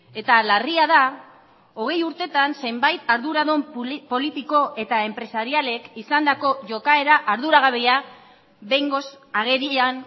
eta larria da hogei urtetan zenbait arduradun politiko eta enpresarialek izandako jokaera arduragabea behingoz agerian